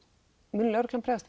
mun lögreglan bregðast